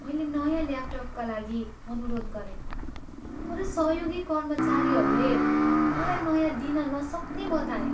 मैले नयाँ ल्यापटपका लागि अनुरोध गरेँ तर सहयोगी कर्मचारीहरूले मलाई नयाँ दिन नसक्ने बताए।